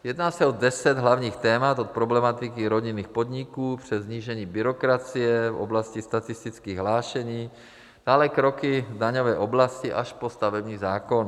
Jedná se o deset hlavních témat od problematiky rodinných podniků přes snížení byrokracie v oblasti statistických hlášení, dále kroky v daňové oblasti až po stavební zákon.